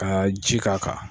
Ka ji k'a kan.